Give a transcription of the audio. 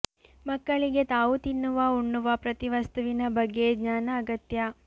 ಮಕ್ಕಳಿಗೆ ತಾವು ತಿನ್ನುವ ಉಣ್ಣುವ ಪ್ರತಿ ವಸ್ತುವಿನ ಬಗ್ಗೆ ಜ್ಞಾನ ಅಗತ್ಯ